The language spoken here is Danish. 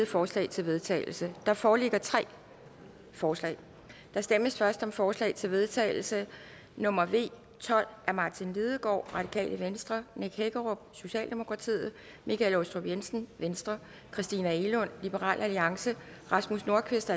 forslag til vedtagelse der foreligger tre forslag der stemmes først om forslag til vedtagelse nummer v tolv af martin lidegaard nick hækkerup michael aastrup jensen christina egelund rasmus nordqvist